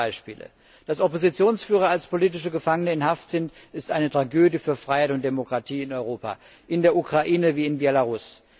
Wir kennen hunderte Beispiele. Dass Oppositionsführer als politische Gefangene in Haft sind, ist eine Tragödie für Freiheit und Demokratie in Europa, in der Ukraine wie in Belarus.